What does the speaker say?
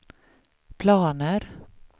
planer